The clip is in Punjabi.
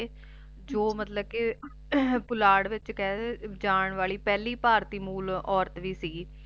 ਜੋ ਮਤਲਬ ਕੀ ਪੁਲਾੜ ਵਿੱਚ ਕਹਿ ਜਾਨ ਵਾਲੀ ਪਹਿਲੀ ਭਾਰਤੀ ਮੂਲ ਔਰਤ ਵੀ ਸਿਗੀ